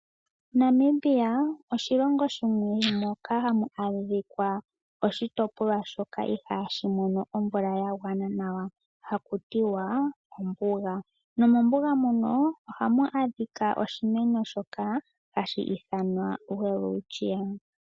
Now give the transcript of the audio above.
Namibia oshilongo shimwe moka hamu adhika oshitopolwa shoka ihashi mono omvula yagwana nawa hakutiwa ombuga. Nomombuga mono ohamu adhika oshimeno shoka hashi ithanwa Welwitshia.